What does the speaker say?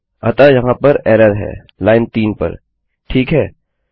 अतः यहाँ पर एरर है लाइन 3 पर ठीक है